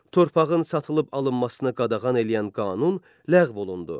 Torpağın satılıb alınmasına qadağan eləyən qanun ləğv olundu.